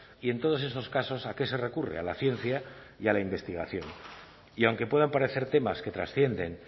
y en todos esos casos a qué se recurre a la ciencia y a la investigación y aunque puedan parecer temas que trascienden